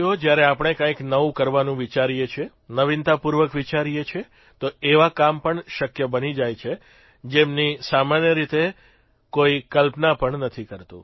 જયારે આપણે કંઇક નવું કરવાનું વિચારીએ છીએ નવીનતાપૂર્વક વિચારીએ છીએ તો એવા કામ પણ શક્ય બની જાય છે જેમની સામાન્ય રીતે કોઇક કલ્પના પણ નથી કરતું